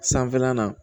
Sanfɛlan na